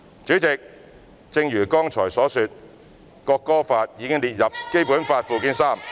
主席，正如剛才所說，《國歌法》已列入《基本法》附件三......